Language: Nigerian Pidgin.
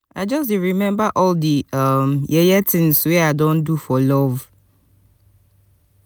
i just dey remember all di um yeye tins wey i don do for love.